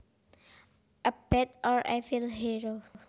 A bad or evil hero